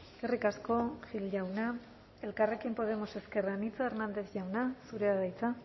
eskerrik asko gil jauna elkarrekin podemos ezker anitza hernández jauna zurea da hitza